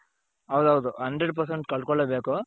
ಹೌದೌದು hundred percent ಕಳ್ಕೊಳ್ಳೆಬೇಕು.